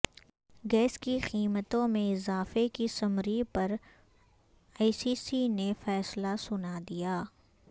gas کی قیمتوں میں اضافے کی سمری پر ای سی سی نے فیصلہ سنا دیا